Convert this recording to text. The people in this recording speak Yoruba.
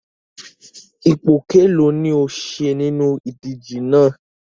Ipò kelọ̀ọ́ ni o ṣe nínú ìdíje náà?